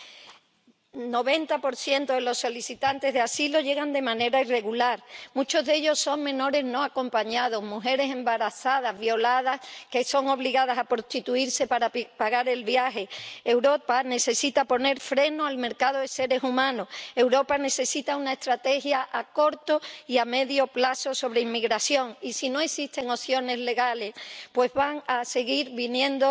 El 90 de los solicitantes de asilo llegan de manera irregular muchos de ellos son menores no acompañados, mujeres embarazadas, violadas, que son obligadas a prostituirse para pagar el viaje. Europa necesita poner freno al mercado de seres humanos. Europa necesita una estrategia a corto y a medio plazo sobre inmigración. Si no existen opciones legales, van a seguir viniendo,